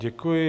Děkuji.